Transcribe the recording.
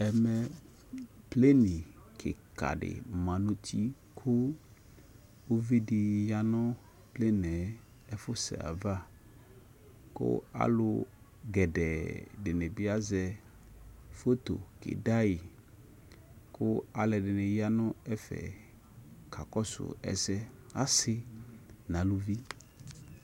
Ɛmɛ pleni kika di ma nʋ uti kʋ uvi di ya nʋ pleni yɛ ɛfʋsɛ yɛ ava kʋ alʋ gɛdɛɛ dini bi azɛ foto keda yi, kʋ alʋɛdini ya nʋ ɛfɛ kakɔsʋ ɛsɛ Asi na alʋvi